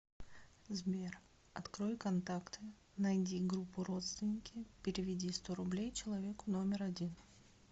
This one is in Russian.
сбер открой контакты найди группу родственники переведи сто рублей человеку номер один